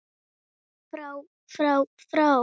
FRÁ FRÁ FRÁ